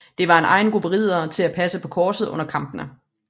Der var en egen gruppe riddere til at passe på korset under kampene